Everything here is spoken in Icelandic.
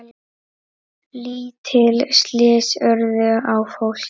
Lítil slys urðu á fólki.